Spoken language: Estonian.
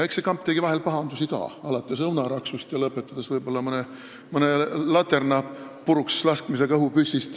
Eks see kamp tegi vahel pahandusi ka, alates õunaraksust ja lõpetades võib-olla mõne laterna õhupüssist puruks laskmisega.